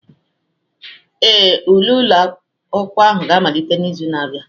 Ee, ule ụlọ akwụkwọ ga-amalite n'izu na-abịa.